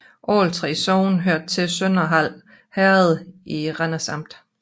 Alle 3 sogne hørte til Sønderhald Herred i Randers Amt